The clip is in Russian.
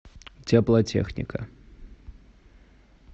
теплотехника